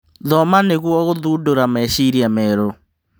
Thoma nĩguo gũthundũra meciria merũ.